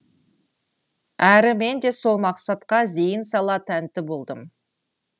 әрі мен де сол мақсатқа зейін сала тәнті болдым